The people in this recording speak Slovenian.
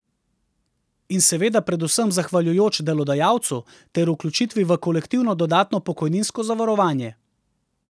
In seveda predvsem zahvaljujoč delodajalcu ter vključitvi v kolektivno dodatno pokojninsko zavarovanje.